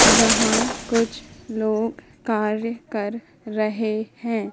यहां कुछ लोग कार्य कर रहे हैं।